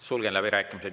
Sulgen läbirääkimised.